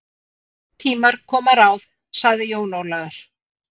Koma tímar, koma ráð, sagði Jón Ólafur.